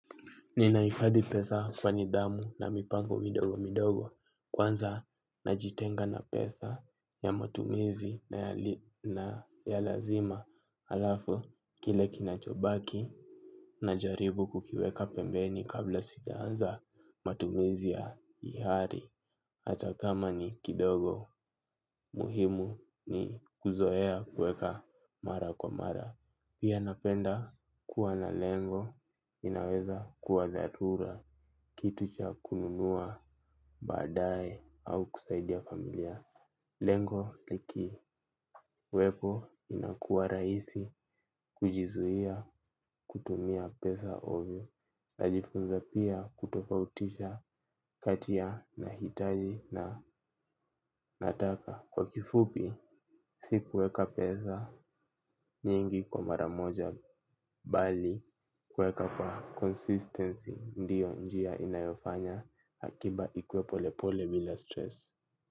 Nina hifadhi pesa kwa nidhamu na mipango midogo midogo kwanza najitenga na pesa ya matumizi na ya lazima halafu kile kinachobaki na jaribu kukiweka pembeni kabla sijaanza matumizi ya hiari. Hata kama ni kidogo muhimu ni kuzoea kuweka mara kwa mara. Pia napenda kuwa na lengo inaweza kuwa dharura. Kitu cha kununua badae au kusaidia familia lengo likiwepo inakuwa rahisi kujizuia kutumia pesa ovyo. Najifunza pia kutofautisha kati mahitaji na nataka. Kwa kifupi, si kuweka pesa nyingi kwa mara moja bali, kuweka kwa consistency ndio njia inayofanya akiba ikue pole pole bila stress.